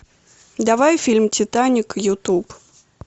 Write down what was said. давай фильм титаник ютуб